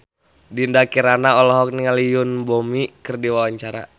Dinda Kirana olohok ningali Yoon Bomi keur diwawancara